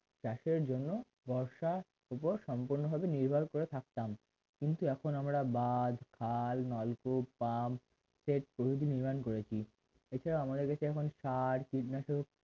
চাষের জন্য বর্ষার উত্তর সম্পূর্ণ নির্ভর করে থাকতাম কিন্তু এখন আমরা বাজে খাল নলকূপ pump সেচ পুনরায় নির্মাণ করেছি ইটা এ, মদের কাছে এখন সার কীটনাশক